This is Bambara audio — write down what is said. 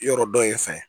Yɔrɔ dɔ ye fɛn ye